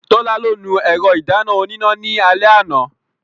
Tọ́lá ló nu ẹ̀rọ ìdáná oníná ní alẹ́ àná.